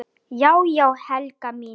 Já já, Helga mín.